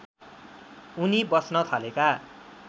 उनी बस्न थालेका